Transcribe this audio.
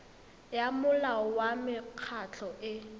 ya molao wa mekgatlho e